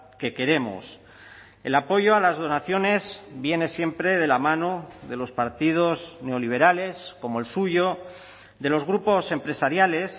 que queremos el apoyo a las donaciones viene siempre de la mano de los partidos neoliberales como el suyo de los grupos empresariales